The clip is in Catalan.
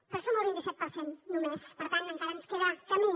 però som el vint i set per cent només per tant encara ens queda camí